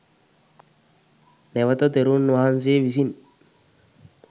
නැවත තෙරුන් වහන්සේ විසින්